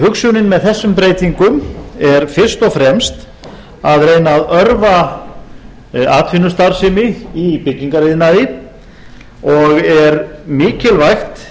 hugsunin með þessum breytingum er fyrst og fremst að reyna að örva atvinnustarfsemi í byggingariðnaði og er mikilvægt